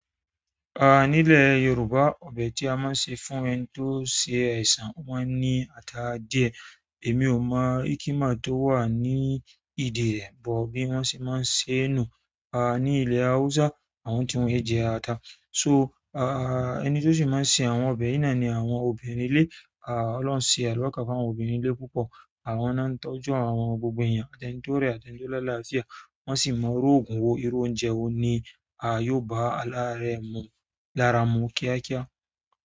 Àá, nílẹ̀ Yorùbá ọbẹ̀ tí a máa ń ṣe fún ẹni tó ṣe àìsàn wọ́n ní ata díẹ̀. Èmi ò mọ́ íkímà tó wà ní ìdí rẹ̀, bọ̀ bí wọ́n ṣe máa ń ṣe é nùu. Àá, ní ilẹ̀ Hausa, àwọn tí wọ́n é jẹ ata. So àá, ẹni tó ṣì máa ṣe àwọn ọbẹ̀ yìí náà ni àwọn obìnrin ilé. Àá, Ọlọ́hun ṣe àlùbáríkà fún àwọn obìnrin ilé púpọ̀. Àwọn náà ń tọ́jú àwọn gbogbo èyàn, atẹ́ni tí ó rẹ̀, atẹni tí ó láláàfíà. Wọ́n sì máa irú ògùn wó, irú oúnjẹ wó ní á yóó bá alárẹ̀ mú, lára mú kíákíá.